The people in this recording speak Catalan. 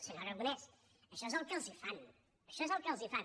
senyor aragonès això és el que els fan això és el que els fan